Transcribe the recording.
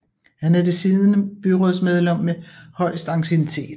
Han er det siddende byrådsmedlem med højest anciennitet